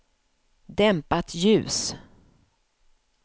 dämpat ljus